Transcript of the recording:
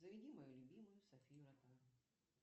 заведи мою любимую софию ротару